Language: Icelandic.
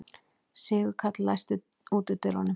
Sigurkarl, læstu útidyrunum.